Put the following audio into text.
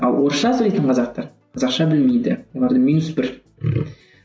ал орысша сөйлейтін қазақтар қазақша білмейді оларда минус бір